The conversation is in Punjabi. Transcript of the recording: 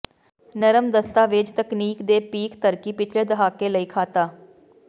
ਨਰਮ ਦਸਤਾਵੇਜ਼ ਤਕਨੀਕ ਦੇ ਪੀਕ ਤਰੱਕੀ ਪਿਛਲੇ ਦਹਾਕੇ ਲਈ ਖਾਤਾ